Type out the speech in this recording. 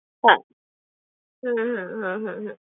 হ্যাঁ হুম হুম হুম হুম হুম